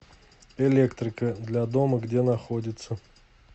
электрика для дома где находится